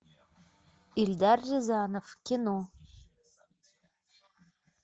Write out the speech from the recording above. эльдар рязанов кино